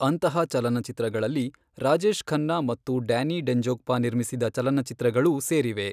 ಅಂತಹ ಚಲನಚಿತ್ರಗಳಲ್ಲಿ ರಾಜೇಶ್ ಖನ್ನಾ ಮತ್ತು ಡ್ಯಾನಿ ಡೆಂಜೋಗ್ಪಾ ನಿರ್ಮಿಸಿದ ಚಲನಚಿತ್ರಗಳೂ ಸೇರಿವೆ.